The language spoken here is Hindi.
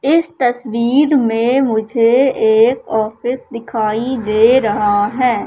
इस तस्वीर में मुझे एक ऑफिस दिखाई दे रहा है।